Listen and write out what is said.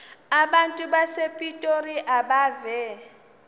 abantu basepitoli abeve